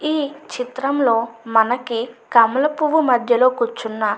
ఈ చిత్రంలో మనకి కమల పువ్వు మధ్యలో కూర్చున్న --